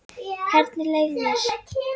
Hvernig leið mér?